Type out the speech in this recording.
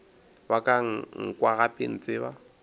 wa ka nkwa gape ntseba